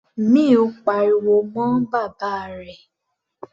Mill pariwo mọ́ bàbá rẹ̀.